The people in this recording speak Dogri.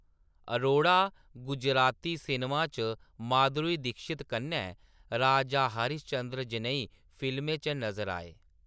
अरोड़ा गुजराती सिनेमा च माधुरी दीक्षित कन्नै राजा हरीश चंद्र जनेही फिल्में च नजर आए।